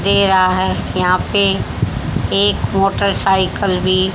दे रहा है यहां पे एक मोटर साइकल भी--